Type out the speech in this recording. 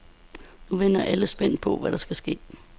Nu venter alle så spændt på, hvad der skal ske.